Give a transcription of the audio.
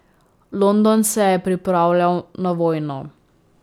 London se je pripravljal na vojno.